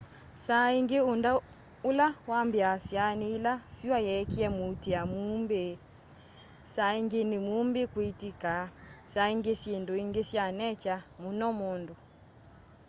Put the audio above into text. saa ingi undu ula wambiiasya ni ila sua yeekia muutia muumbi saa ingi ni muumbi kwitika saa ingi syindu ingi sya nature muno mundu